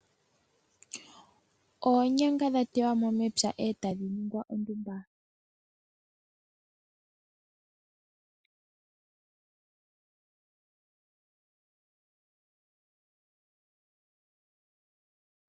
Oonyanga dha tewa mo mepya etadhi ningwa ondumba.